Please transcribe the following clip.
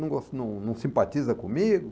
não não simpatiza comigo?